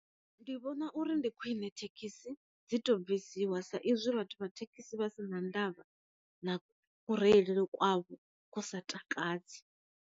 Ndi vhona uri ndi khwine thekhisi dzi to bvisiwa sa izwi vhathu vha thekhisi vha si na ndavha na ku reilele kwavho kwu sa takadzi.